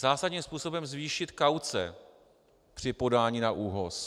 Zásadním způsobem zvýšit kauce při podání na ÚOHS.